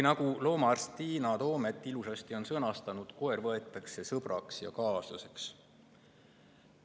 Nagu loomaarst Tiina Toomet ilusasti on sõnastanud: koer võetakse sõbraks ja kaaslaseks.